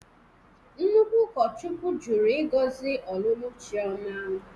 Nnukwu ụkọchukwu jụrụ ịgọzi ọlụlụ Chiọma